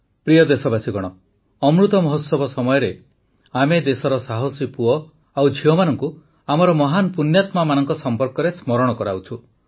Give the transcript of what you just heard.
ପ୍ରିୟ ଦେଶବାସୀଗଣ ଅମୃତ ମହୋତ୍ସବ ସମୟରେ ଆମେ ଦେଶର ସାହସୀ ପୁଅ ଓ ଝିଅମାନଙ୍କୁ ଆମର ମହାନ ପୁଣ୍ୟାତ୍ମାମାନଙ୍କ ସମ୍ପର୍କରେ ସ୍ମରଣ କରାଉଛୁ